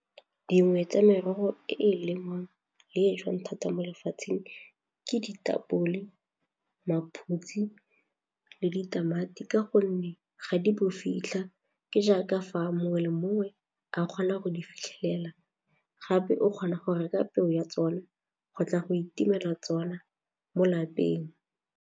Dingwe tsa merogo e e lengwang le e jewang thata mo lefatsheng ke ditapole, maphutsi le ditamati ka gonne ga di fitlha ke jaaka fa mongwe le mongwe a kgona go di fitlhelela gape o kgona go reka peo ya tsona go tla go itumela tsona mo lapeng.